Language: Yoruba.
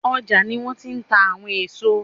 ọ́jà ní wọn ti n tà àwọn eso